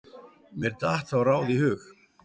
Mér datt þá ráð í hug.